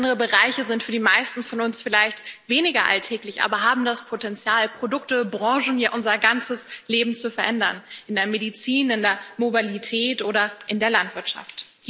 Andere Bereiche sind für die meisten von uns vielleicht weniger alltäglich, aber haben das Potenzial, Produkte, Branchen, ja unser ganzes Leben zu verändern in der Medizin, in der Mobilität oder in der Landwirtschaft.